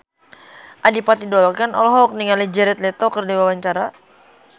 Adipati Dolken olohok ningali Jared Leto keur diwawancara